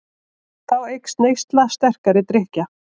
Þá eykst neysla sterkari drykkja.